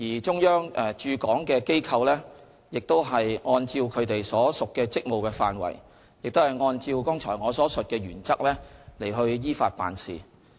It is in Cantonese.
中央駐港機構亦按照其所屬職務的範圍及按照我剛才所述的原則依法辦事。